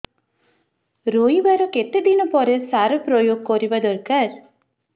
ରୋଈବା ର କେତେ ଦିନ ପରେ ସାର ପ୍ରୋୟାଗ କରିବା ଦରକାର